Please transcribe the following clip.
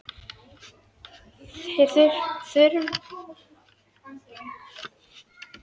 Þeir hurfu með nokkurri tregðu heim á hótelið.